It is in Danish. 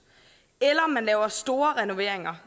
eller laver store renoveringer